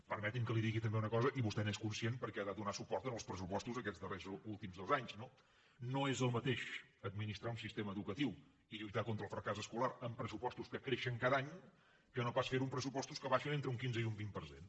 permeti’m que li digui també una cosa i vostè n’és conscient perquè ha donat suport en els pressupostos aquests darrers últims dos anys no és el mateix administrar un sistema educatiu i lluitar contra el fracàs escolar amb pressupostos que creixen cada any que no pas fer ho amb pressupostos que baixen entre un quinze i un vint per cent